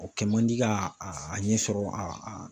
O kɛ man di ka a ɲɛ sɔrɔ a